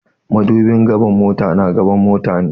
Madubin gaba na mota na a gaban mota ne.